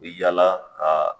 E yala ka